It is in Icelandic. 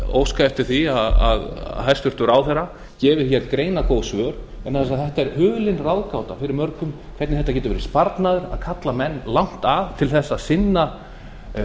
óska eftir því að hæstvirtur ráðherra gefi greinargóð svör vegna þess að þetta er hulin ráðgáta fyrir mörgum hvernig þetta getur verið sparnaður að kalla menn langt að til að sinna